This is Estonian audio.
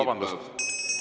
Vabandust!